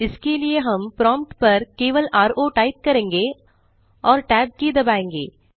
इसके लिए हम प्रोम्प्ट पर केवल रो टाइप करेंगे और tab की दबायेंगे